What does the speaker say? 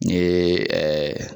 N ye .